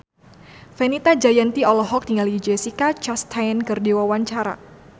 Fenita Jayanti olohok ningali Jessica Chastain keur diwawancara